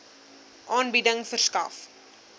aanbieding verskaf